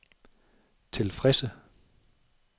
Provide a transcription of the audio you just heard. tilfredse